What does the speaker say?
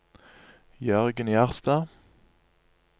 Jørgen Gjerstad